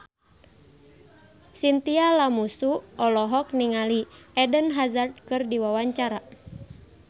Chintya Lamusu olohok ningali Eden Hazard keur diwawancara